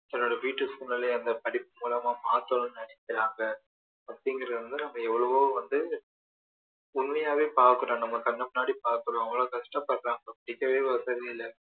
தன்னோட வீட்டு சூழ்நிலையை அந்த படிப்பு மூலமா மாற்றணும்னு நினைக்கிறாங்க அப்படிங்கிறது வந்து நம்ம எவ்ளோவோ வந்து உண்மையாவே பார்க்குறோம் நம்ம கண்ணு முன்னாடி பார்க்குறோம் அவ்ளோ கஷ்டபடுறாங்க படிக்கவே வசதி இல்ல